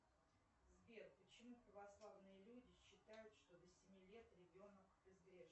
сбер почему православные люди считают что до семи лет ребенок безгрешен